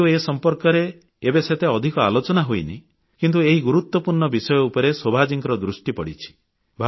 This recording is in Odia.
ଯଦିଓ ଏ ସମ୍ପର୍କରେ ଏବେ ସେତେ ଅଧିକ ଆଲୋଚନା ହୋଇନାହିଁ କିନ୍ତୁ ଏହି ଗୁରୁତ୍ୱପୂର୍ଣ୍ଣ ବିଷୟ ଉପରେ ଶୋଭାଜୀଙ୍କ ଦୃଷ୍ଟି ପଡ଼ିଛି